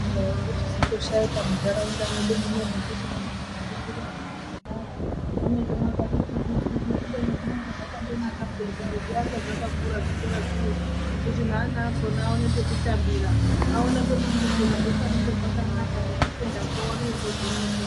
....yochizondoshaikwa muntaraunda mwedu muno zvekuti nemunozofundira ana akona munenge mwakati tsiki-tsiki. Kubeni zvinenge zvakandonaka peya kuti zviakwe zvakakura zvikora zvinezvi kuti neana akona aone pekutambira, aone pekufundirazve panenge pakanaka, nekufundako aone kukuzwisisa.